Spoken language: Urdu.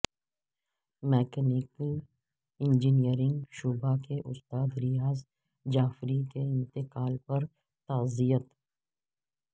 مکینیکل انجینئرنگ شعبہ کے استاد ریاض جعفری کے انتقال پر تعزیت